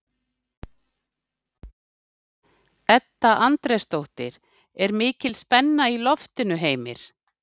Edda Andrésdóttir: Er ekki mikil spenna í loftinu, Heimir?